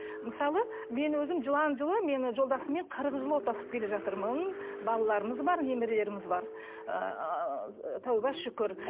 мысалы мен өзім жылан жылы мен жолдасыммен қырық жыл отасып келе жатырмын балаларымыз бар немерелеріміз бар ыыы тәубе шүкір